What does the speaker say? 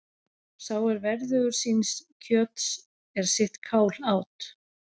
Sá er verðugur síns kjöts er sitt kál át.